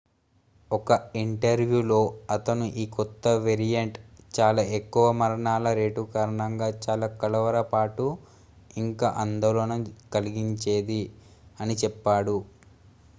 """ఒక ఇంటర్వ్యూలో అతను ఈ కొత్త వేరియంట్ "చాలా ఎక్కువ మరణాల రేటు కారణంగా చాలా కలవరపాటు ఇంకా ఆందోళన కలిగించేది" అని చెప్పాడు.